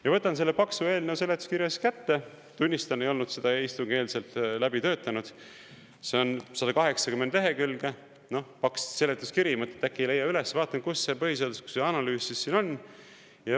Ja võtan selle paksu eelnõu seletuskirja siis kätte – tunnistan, ei olnud seda istungieelselt läbi töötanud – see on 180 lehekülge paks seletuskiri, mõtlen, et äkki ei leia üles, vaatan, kus see põhiseaduslikkuse analüüs siis siin on.